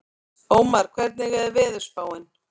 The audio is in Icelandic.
Ómar, hvernig er veðurspáin?